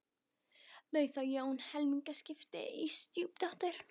Bauð þá Jón helmingaskipti á stjúpdóttur